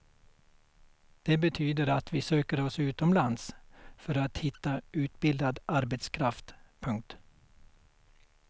Det betyder att vi söker oss utomlands för att hitta utbildad arbetskraft. punkt